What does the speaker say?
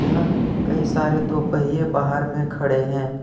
यहां कई सारे दो पहिए बाहर में खड़े हैं।